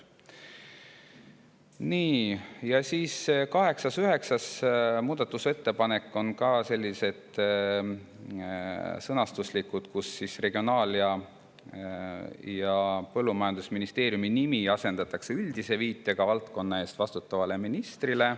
Nii, ja 8. ja 9. muudatusettepanek on ka sellised sõnastuslikud: Regionaal- ja Põllumajandusministeeriumi nimi asendatakse üldise viitega valdkonna eest vastutavale ministrile.